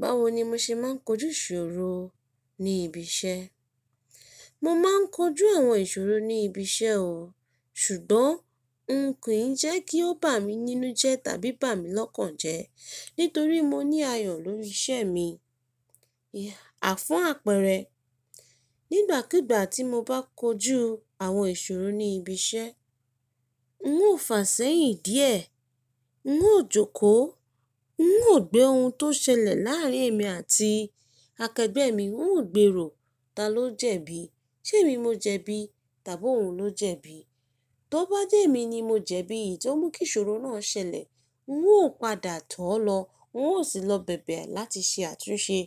Báwo ni mo ṣe máa ń kojú ìṣòro ní ibi iṣẹ́? Mo máa ń kojú àwọn ìṣòro ní ibi iṣẹ́ o, ṣùgbọ́n n kò í jẹ́ kí ó bà mí nínú jẹ tàbí bà mí lọ́kàn jẹ, nítorí mo ní ayọ̀ lórí iṣẹ́ mi. À fún apẹrẹ, nígbàkígbà tí mo bá kojú àwọn ìṣòro ní ibi iṣẹ́, n ó fàsẹ́yìn díẹ̀, n ó jókòó, n ó gbé ohun tó ṣẹlẹ̀ láàárín èmi àti akẹgbẹ́ mi, n ó gbèrò ta ló jẹ̀bi, ṣ'èmi mo jẹ̀bi tàbí òun ló jẹ̀bi. Tọ bá jẹ́ èmi ni mo jẹ̀bi iyi tio mu kí ìṣòro náà ṣẹlẹ̀, n ó padà tó lọ, n ó sì lọ bèbè láti ṣe àtúnṣe.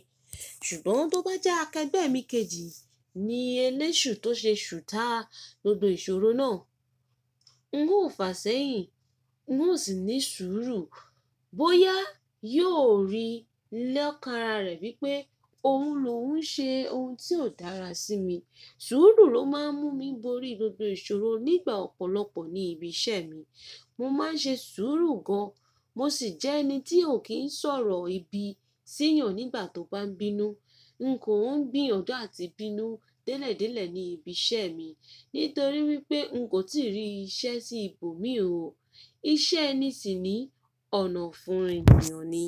Ṣùgbọ́n tó bá jẹ́ akẹgbẹ́ mi kejì ni eléṣù tó ṣe ṣù ta gbogbo ìṣòro náà, n ó fàsẹ́yìn, n ó sì ní sùúrù bóyá yóò rí lokan ara rẹ̀ wí pé òun ló ń ṣe ohun tí kò dára sí mi. Sùúrù ló máa ń mú mi borí gbogbo ìṣòro nígbà ọ̀pọ̀lọpọ̀ ní ibi iṣẹ́ mi. Mo máa ń ṣe sùúrù gan, mo sì jẹ́ ẹni tí ò kí ń sọ̀rọ̀ ibi síyàn nígbà tó bá ń bínú. N kò ń gbìyànjú àti bínú délẹ̀délẹ̀ ní ibi iṣẹ́ mi, nítorí wí pé n kò tíì rí iṣẹ́ sí ibòmíràn o. Iṣẹ́ ẹni sì ni ọ̀nà fún ènìyàn ni.